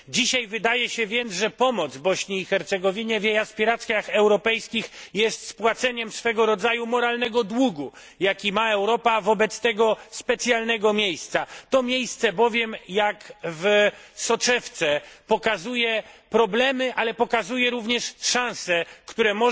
Dzisiaj wydaje się więc, że pomoc Bośni i Hercegowinie w jej aspiracjach europejskich jest spłaceniem swego rodzaju moralnego długu, jaki ma Europa wobec tego specjalnego miejsca. To miejsce bowiem jak w soczewce pokazuje problemy, ale pokazuje również szanse, które